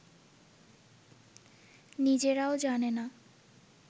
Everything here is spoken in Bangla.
নিজেরাও জানে না